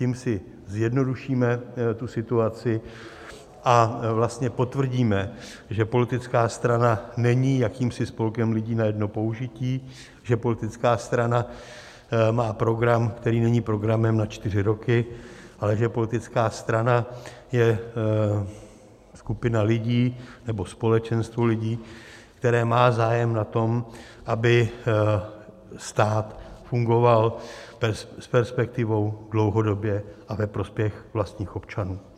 Tím si zjednodušíme tu situaci a vlastně potvrdíme, že politická strana není jakýmsi spolkem lidí na jedno použití, že politická strana má program, který není programem na čtyři roky, ale že politická strana je skupina lidí nebo společenstvo lidí, které má zájem na tom, aby stát fungoval s perspektivou, dlouhodobě a ve prospěch vlastních občanů.